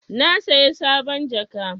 Na saya sabon jaka.